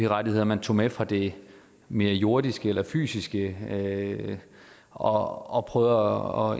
rettigheder man tog med fra det mere jordiske eller fysiske og